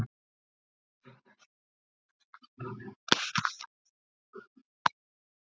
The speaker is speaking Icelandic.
Eru slök leikmannakaup ástæðan fyrir vandamálum liðsins?